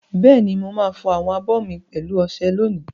Bẹ́ẹ̀ni, mo máa fọ àwọn abọ́ mi pẹ̀lú ọṣẹ olómi.